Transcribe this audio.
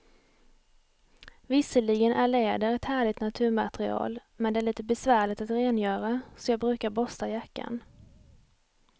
Visserligen är läder ett härligt naturmaterial, men det är lite besvärligt att rengöra, så jag brukar borsta jackan.